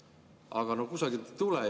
Aga kusagilt ei tule.